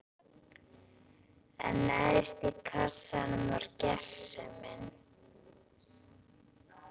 En neðst í kassanum var gersemin.